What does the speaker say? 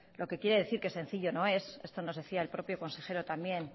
lo que quiere decir que sencillo no es esto nos decía el propio consejero también